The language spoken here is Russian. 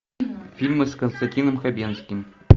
фильмы с константином хабенским